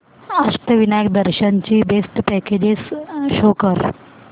अष्टविनायक दर्शन ची best packages show कर